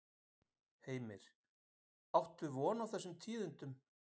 Heimir: Áttu von á tíðindum af þessum fundi?